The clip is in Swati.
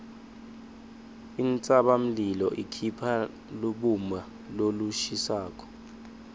intsabamlilo ikhipha lubumba lolushisako